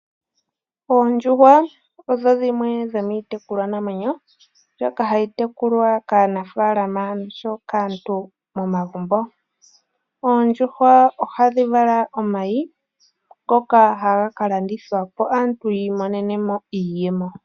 Oondjuhwa odho dhimwe dho miitekulwanamwenyo ndhoka hadhi tekulwa kaanafaalama osho woo kaantu momagumbo. Ohadhi vala omayi ngoka haga ka landithwa po opo aantu yiimonene iiyemo.